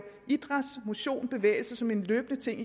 idræt motion bevægelse som en løbende ting i